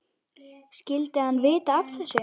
Skyldi hann vita af þessu?